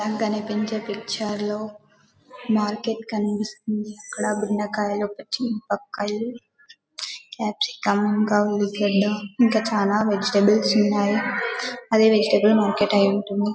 మనకి కనిపించే పిక్చర్ లా మార్కెట్ కనిపిస్తుంది ఇక్కడ భిన్నకాయలు క్యాప్సికం ఉల్లిగడ్డ ఇంకా ఉల్లిగదా చాల వెజిటల్స్ ఉన్నాయ్ అది వెజిటల్ మార్కెట్ ఐ ఉంటుంది .